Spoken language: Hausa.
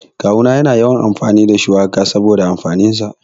Kawu na yana yawan amfani da shuwaka saboda amfanin sa.